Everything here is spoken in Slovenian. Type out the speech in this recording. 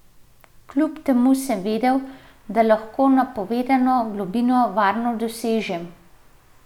Kljub temu sem vedel, da lahko napovedano globino varno dosežem.